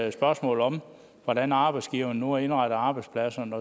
et spørgsmål om hvordan arbejdsgiverne nu har indrettet arbejdspladserne